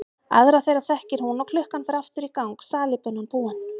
Aðra þeirra þekkir hún og klukkan fer aftur í gang, salíbunan búin.